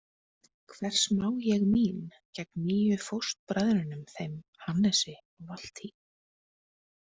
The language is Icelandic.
Hvers má ég mín gegn nýju fóstbræðrunum, þeim Hannesi og Valtý?